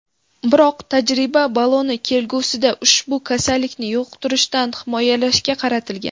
Biroq tajriba bolani kelgusida ushbu kasallikni yuqtirishdan himoyalashga qaratilgan.